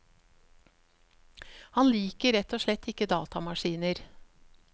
Han liker rett og slett ikke datamaskiner.